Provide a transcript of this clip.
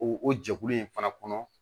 O o jɛkulu in fana kɔnɔ